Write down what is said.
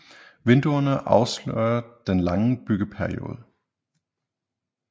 Vinduerne afslører den lange bygge periode